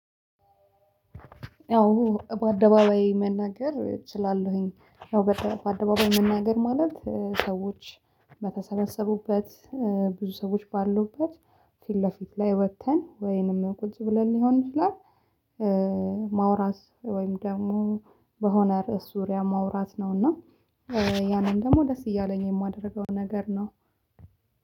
አዎ በአደባባይ መናገር እችላለሁኝ አዎ በአደባባይ መናገር ማለት ሰዎች በተሰበሰቡበት ብዙ ሰዎች ባሉበት ፊት ለፊት ላይ ወጥተን ወይንም ቁጭ ብለን ሊሆን ይችላል። ማውራት ወይም ደግሞ በሆነ ርዕስ ዙሪያ ማውራት ነውና ያንን ደግሞ ደስ እያለኝ የማደርገው ነገር ነው።